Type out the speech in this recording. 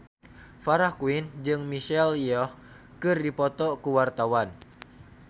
Farah Quinn jeung Michelle Yeoh keur dipoto ku wartawan